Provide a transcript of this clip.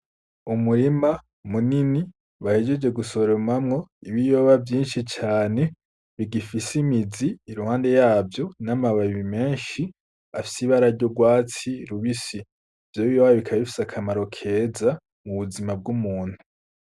Umurima munini bahejeje gusoromamwo ibiyoba vyinshi cane bigifise imizi i ruhande yavyo n'amababi menshi afise ibara ry'urwatsi rubisi. Ivyo biyoba bikaba bifise akamaro kera mu buzima bw'umuntu.